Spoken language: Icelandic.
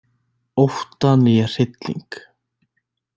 Ótta né hrylling.